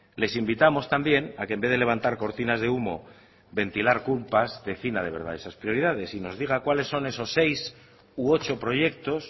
les invitamos también a que en vez de levantar cortinas de humo ventilar culpas defina de verdad esas prioridades y nos diga cuáles son esos seis u ocho proyectos